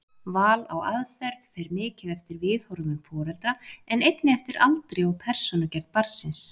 Val á aðferð fer mikið eftir viðhorfum foreldra en einnig eftir aldri og persónugerð barnsins.